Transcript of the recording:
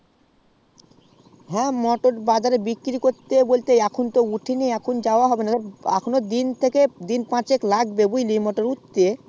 হ্যাঁ মোটর বাজার এ বিক্রি করতে বলতে এখন তো মোটর হয়নি এখনো দিন পাঁচেক লাগবে বুজলি উঠতে